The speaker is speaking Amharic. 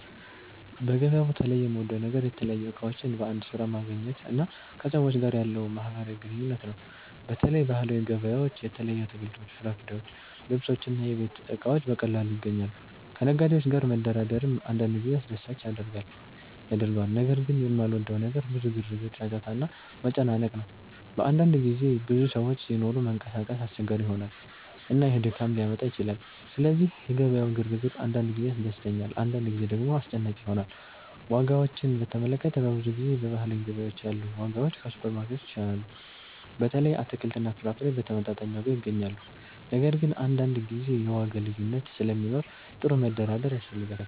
በገበያ ቦታ ላይ የምወደው ነገር የተለያዩ እቃዎችን በአንድ ስፍራ ማግኘት እና ከሰዎች ጋር ያለው ማህበራዊ ግንኙነት ነው። በተለይ ባህላዊ ገበያዎች የተለያዩ አትክልቶች፣ ፍራፍሬዎች፣ ልብሶች እና የቤት እቃዎች በቀላሉ ይገኛሉ። ከነጋዴዎች ጋር መደራደርም አንዳንድ ጊዜ አስደሳች ያደርገዋል። ነገር ግን የማልወደው ነገር ብዙ ግርግር፣ ጫጫታ እና መጨናነቅ ነው። በአንዳንድ ጊዜ ብዙ ሰዎች ሲኖሩ መንቀሳቀስ አስቸጋሪ ይሆናል፣ እና ይህ ድካም ሊያመጣ ይችላል። ስለዚህ የገበያው ግርግር አንዳንድ ጊዜ ያስደስተኛል፣ አንዳንድ ጊዜ ደግሞ አስጨናቂ ይሆናል። ዋጋዎችን በተመለከተ፣ በብዙ ጊዜ በባህላዊ ገበያዎች ያሉ ዋጋዎች ከሱፐርማርኬቶች ይሻላሉ። በተለይ አትክልትና ፍራፍሬ በተመጣጣኝ ዋጋ ይገኛሉ። ነገር ግን አንዳንድ ጊዜ የዋጋ ልዩነት ስለሚኖር ጥሩ መደራደር ያስፈልጋል።